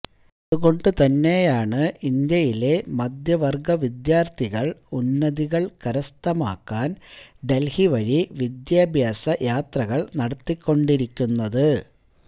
അതുകൊണ്ട് തന്നെയാണ് ഇന്ത്യയിലെ മധ്യവര്ഗ വിദ്യാര്ഥികള് ഉന്നതികള് കരസ്ഥമാക്കാന് ഡല്ഹി വഴി വിദ്യാഭ്യാസ യാത്രകള് നടത്തിക്കൊണ്ടിരിക്കുന്നത്